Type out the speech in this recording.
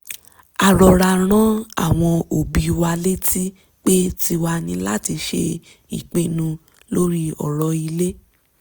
a rọra rán àwọn òbí wa létí pé tiwa ni láti ṣe ìpinnu lórí ọ̀rọ̀ ilé